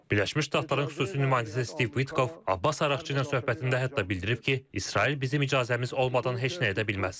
Birləşmiş Ştatların xüsusi nümayəndəsi Steve Pitkov Abbas Arakçı ilə söhbətində hətta bildirib ki, İsrail bizim icazəmiz olmadan heç nə edə bilməz.